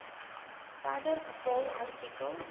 verder bepaal art